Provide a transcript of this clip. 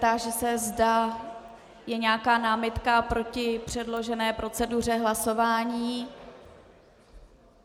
Táži se, zda je nějaká námitka proti předložené proceduře hlasování.